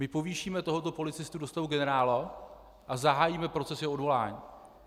My povýšíme tohoto policistu do stavu generála - a zahájíme proces jeho odvolání.